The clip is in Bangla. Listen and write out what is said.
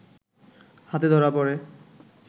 হাতে ধরা পড়ে